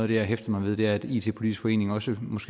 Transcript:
det jeg hæfter mig ved er at it politisk forening også